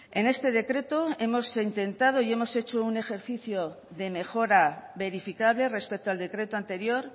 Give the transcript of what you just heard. en este decreto hemos intentado y hemos hecho un ejercicio de mejora verificable respecto al decreto anterior